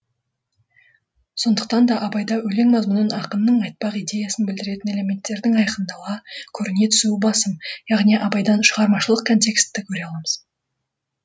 сондықтан да абайда өлең мазмұнын ақынның айтпақ идеясын білдіретін элементтердің айқындала көріне түсуі басым яғни абайдан шығармашылық контексті көре аламыз